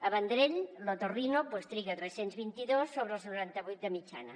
al vendrell l’otorrino en triga tres cents i vint dos sobre els noranta vuit de mitjana